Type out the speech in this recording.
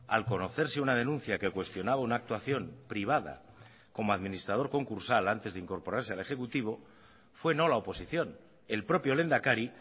al conocerse una denuncia que cuestionaba una actuación privada como administrador concursal antes de incorporarse al ejecutivo fue no la oposición el propio lehendakari